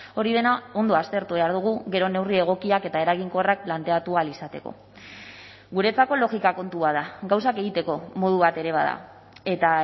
hori dena ondo aztertu behar dugu gero neurri egokiak eta eraginkorrak planteatu ahal izateko guretzako logika kontua da gauzak egiteko modu bat ere bada eta